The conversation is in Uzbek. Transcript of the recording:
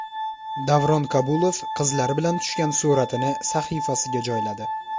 Davron Kabulov qizlari bilan tushgan suratini sahifasiga joyladi.